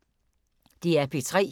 DR P3